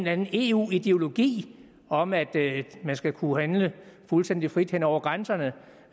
anden eu ideologi om at man skal kunne handle fuldstændig frit hen over grænserne